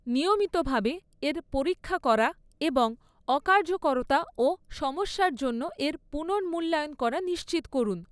নিয়মিতভাবে এর পরীক্ষা করা এবং অকার্যকরতা ও সমস্যার জন্য এর পুনর্মূল্যায়ন করা নিশ্চিত করুন।